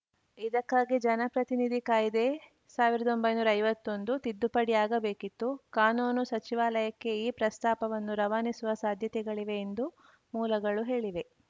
ಇದಕ್ಕಾಗಿ ಜನಪ್ರತಿನಿಧಿ ಕಾಯ್ದೆ ಸಾವಿರದ ಒಂಬೈನೂರ ಐವತ್ತೊಂದು ತಿದ್ದುಪಡಿ ಆಗಬೇಕಿತ್ತು ಕಾನೂನು ಸಚಿವಾಲಯಕ್ಕೆ ಈ ಪ್ರಸ್ತಾಪವನ್ನು ರವಾನಿಸುವ ಸಾಧ್ಯತೆಗಳಿವೆ ಎಂದು ಮೂಲಗಳು ಹೇಳಿವೆ